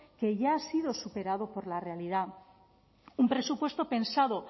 que ya ha sido superado por la realidad un presupuesto pensado